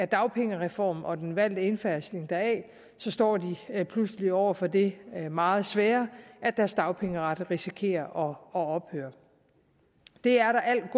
dagpengereformen og den valgte indfasning deraf står de pludselig over for det meget svære at deres dagpengeret risikerer at ophøre det er der al